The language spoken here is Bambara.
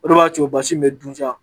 O de b'a to basi in bɛ dun ja.